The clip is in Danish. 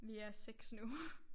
Vi er 6 nu